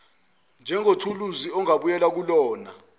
njengethuluzi ongabuyela kulona